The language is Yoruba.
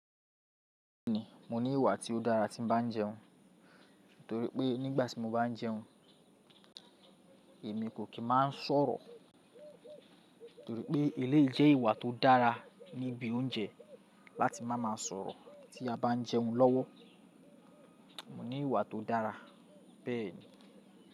Bẹ́ẹ̀ni mo ní ìwà tí ó dára tí mo bá ń jẹun, torí pé nígbà tí mo bá ń jẹun èmi kò kì í máa ń sọ̀rọ̀. Torí pé eléyìí jẹ́ ìwà tó dára níbi oúnjẹ láti máa ma sọ̀rọ̀ tí a bá ń jẹun lọ́wọ́. Mo ní ìwà tó dára bẹ́ẹ̀ni.